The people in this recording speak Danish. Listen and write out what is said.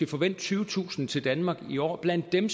forvente tyvetusind til danmark i år blandt dem